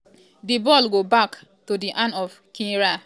di ball go back um to di hand of kwizera e fire di ball to goalkick oooo.